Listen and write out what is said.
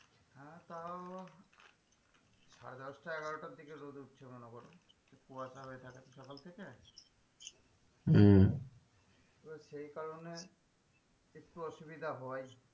হ্যাঁ তাও সাড়ে দশটা এগারোটার দিকে রোদ উঠছে মনে করো কুয়াশা হয়ে থাকছে সকাল থেকে হম তো সেই কারণে একটু অসুবিধা হয়,